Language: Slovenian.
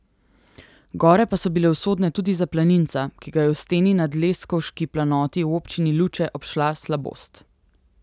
Gore pa so bile usodne tudi za planinca, ki ga je v steni na Dleskovški planoti v občini Luče, obšla slabost.